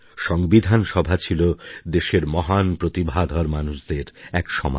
সংবিধান সভা ছিল দেশের মহান প্রতিভাধর মানুষদের এক সমাবেশ